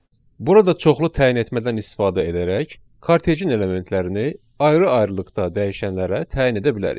Burada çoxlu təyin etmədən istifadə edərək, kortecin elementlərini ayrı-ayrılıqda dəyişənlərə təyin edə bilərik.